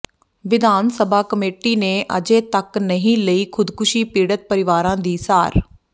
ਵਿਧਾਨ ਸਭਾ ਕਮੇਟੀ ਨੇ ਅਜੇ ਤੱਕ ਨਹੀਂ ਲਈ ਖ਼ੁਦਕੁਸ਼ੀ ਪੀੜਤ ਪਰਿਵਾਰਾਂ ਦੀ ਸਾਰ